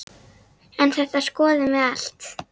En þetta skoðum við allt.